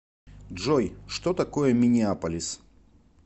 джой что такое миннеаполис